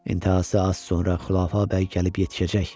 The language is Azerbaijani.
İntihası az sonra Xülafə bəy gəlib yetişəcək.